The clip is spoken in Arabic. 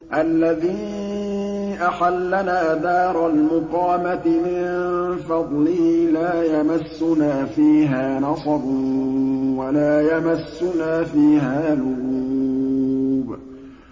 الَّذِي أَحَلَّنَا دَارَ الْمُقَامَةِ مِن فَضْلِهِ لَا يَمَسُّنَا فِيهَا نَصَبٌ وَلَا يَمَسُّنَا فِيهَا لُغُوبٌ